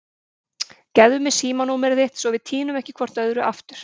Gefðu mér símanúmerið þitt svo við týnum ekki hvort öðru aftur.